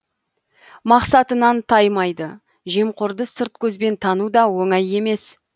мақсатынан таймайды жемқорды сырт көзбен тану да оңай емес